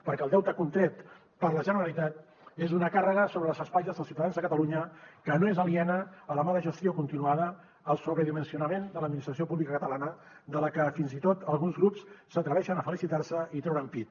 perquè el deute contret per la generalitat és una càrrega sobre les espatlles dels ciutadans de catalunya que no és aliena a la mala gestió continuada al sobredimensionament de l’administració pública catalana de la que fins i tot alguns grups s’atreveixen a felicitar se i treure’n pit